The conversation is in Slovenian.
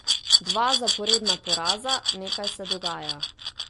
Dva zaporedna poraza, nekaj se dogaja.